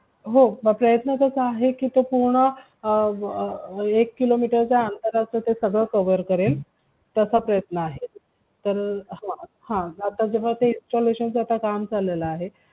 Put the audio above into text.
हो मंग प्रयत्न तसा आहे कि तो पूर्ण एक किलो मीटर च्या अंतराचा सगळं cover करेल तसा प्रयत्न आहे तर हा आता installation चा आता काम चालेल आहे